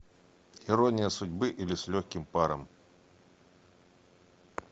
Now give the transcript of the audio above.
ирония судьбы или с легким паром